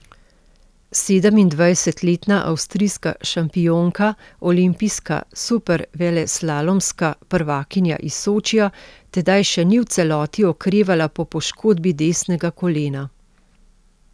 Sedemindvajsetletna avstrijska šampionka, olimpijska superveleslalomska prvakinja iz Sočija, tedaj še ni v celoti okrevala po poškodbi desnega kolena.